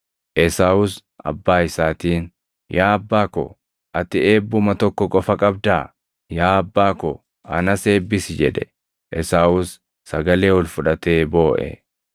Esaawus abbaa isaatiin, “Yaa abbaa ko, ati eebbuma tokko qofa qabdaa? Yaa abbaa ko, anas eebbisi!” jedhe. Esaawus sagalee ol fudhatee booʼe.